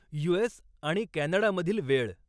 US आणि कॅनडामधील वेळ